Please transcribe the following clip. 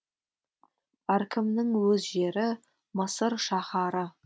әркімнің өз жері мысыр шаһары